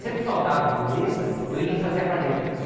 Sempre faltava um humorista, eu ia e fazia a parte dele.